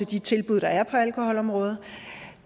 de tilbud der er på alkoholområdet